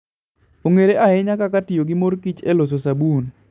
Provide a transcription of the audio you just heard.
Ong'ere ahinya kaka tiyo gi mor kich e loso sabun.